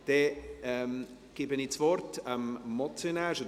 Dann gebe ich das Wort dem Motionär.